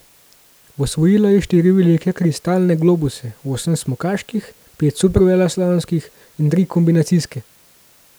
Osvojila je štiri velike kristalne globuse, osem smukaških, pet superveleslalomskih in tri kombinacijske.